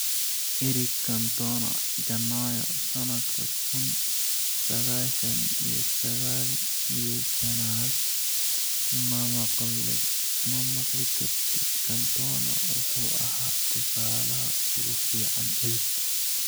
Eric Cantona, Janaayo sanadka kun sagashan iyo sagal iyo shanaad ma maqli kartid Cantona wuxuu ahaa tusaalaha ugu fiican abid.